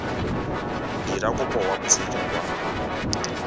dira kopo kwa moseja wa